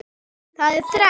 Það er þrennt.